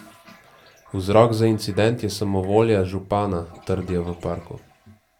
Vzrok za incident je samovolja župana, trdijo v parku.